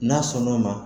N'a sɔnn'o ma